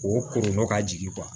O kɔnnɔ ka jigin